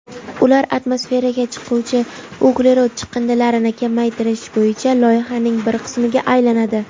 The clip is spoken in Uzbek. ular atmosferaga chiquvchi uglerod chiqindilarini kamaytirish bo‘yicha loyihaning bir qismiga aylanadi.